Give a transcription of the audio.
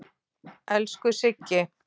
Elsku Siggi.